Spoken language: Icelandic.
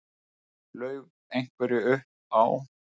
Laug einhverju upp á